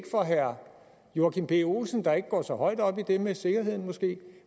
for herre joachim b olsen der måske ikke går så højt op i det med sikkerheden